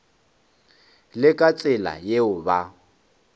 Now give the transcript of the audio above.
le ka tsela yeo ba